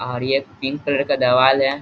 और यह पर पिंक कलर का देवाल है।